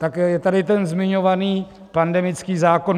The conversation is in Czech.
Tak je tady ten zmiňovaný pandemický zákon.